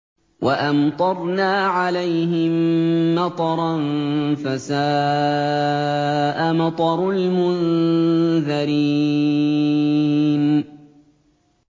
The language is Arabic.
وَأَمْطَرْنَا عَلَيْهِم مَّطَرًا ۖ فَسَاءَ مَطَرُ الْمُنذَرِينَ